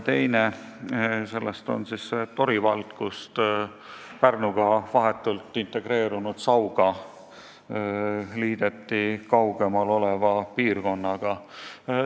Teine on Tori vald, kus Pärnuga vahetult integreerunud Sauga liideti kaugemal oleva piirkonnaga.